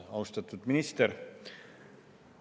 Austatud minister!